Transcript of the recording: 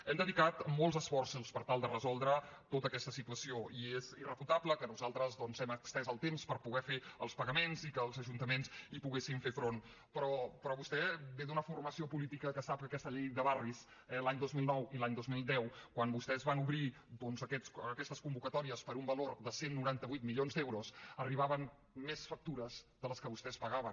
hem dedicat molts esforços per tal de resoldre tota aquesta situació i és irrefutable que nosaltres doncs hem estès el temps per poder fer els pagaments i que els ajuntaments hi poguessin fer front però vostè ve d’una formació política que sap que aquesta llei de barris l’any dos mil nou i l’any dos mil deu quan vostès van obrir doncs aquestes convocatòries per un valor de cent i noranta vuit milions d’euros arribaven més factures de les que vostès pagaven